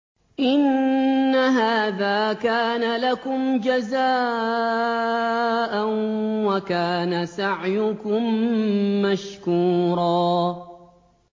إِنَّ هَٰذَا كَانَ لَكُمْ جَزَاءً وَكَانَ سَعْيُكُم مَّشْكُورًا